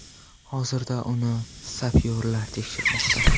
Hozirda uyni sapyorlar tekshirmoqda.